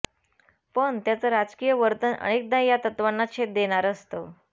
पण त्यांचं राजकीय वर्तन अनेकदा या तत्वांना छेद देणारं असतं